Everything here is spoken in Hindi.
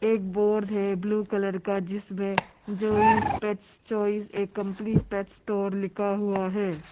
एक बोर्ड है ब्लू कलर का जिसमें Joyce pet choice a complete pet store लिखा हुआ है।